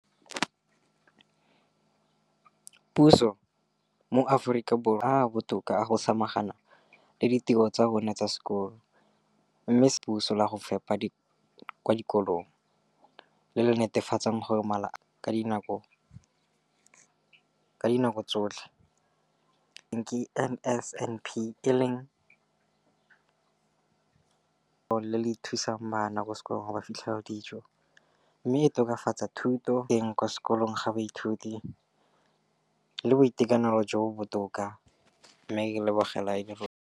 Dikolo tsa puso mo Aforika Borwa ba mo maemong a a botoka a go ka samagana le ditiro tsa bona tsa sekolo, mme ditebogo di lebisiwa kwa lenaaneng la puso le le netefatsang gore mala a bona a kgorisitswe ka dijo tse di tletseng dikotla.